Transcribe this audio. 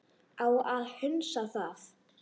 Á að hunsa það?